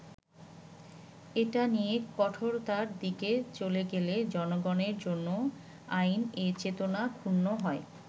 এটা নিয়ে কঠোরতার দিকে চলে গেলে জনগণের জন্য আইন এ চেতনা ক্ষুণ্ণ হয়”।